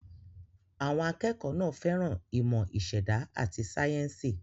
Àwọn akẹ́kọ̀ọ́ náà fẹ́ràn ìmọ̀ ìṣẹ̀dá àti sáyẹ́ńsì.